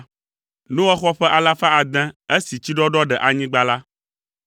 Noa xɔ ƒe alafa ade esi tsiɖɔɖɔ ɖe anyigba la.